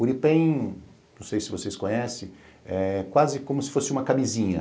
Uripen, não sei se vocês conhecem, é quase como se fosse uma camisinha.